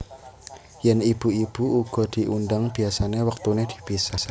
Yèn ibu ibu uga diundhang biasané wektuné dipisah